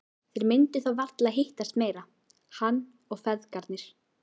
Þeir myndu þá varla hittast meira, hann og feðgarnir.